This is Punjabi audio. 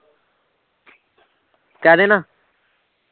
ਕਹਿਦੇ ਨਾ